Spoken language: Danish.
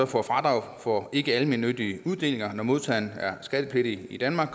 får fradrag for ikkealmennyttige uddelinger når modtageren er skattepligtig i danmark